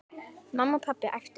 Mamma, pabbi æpti hún.